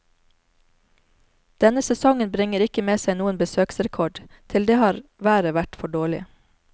Denne sesongen bringer ikke med seg noen besøksrekord, til det har været vært for dårlig.